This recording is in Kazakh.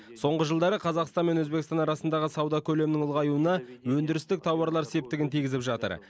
соңғы жылдары қазақстан мен өзбекстан арасындағы сауда көлемінің ұлғаюына өндірістік тауарлар септігін тигізіп жатыр